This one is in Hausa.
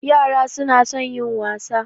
Yara su na son yin wasa